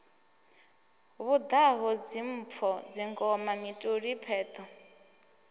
vhaḓaho dzimpfo dzingoma mituli pheṱho